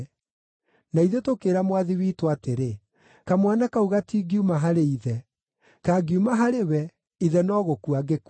Na ithuĩ tũkĩĩra mwathi witũ atĩrĩ, ‘Kamwana kau gatingiuma harĩ ithe; kangiuma harĩ we, ithe no gũkua angĩkua.’